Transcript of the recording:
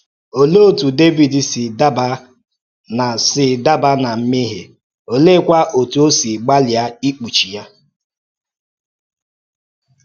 Òlee otú Dẹvid si daba ná si daba ná mmehie, oleekwa otú ọ́ si gbalịa ikpuchi ya?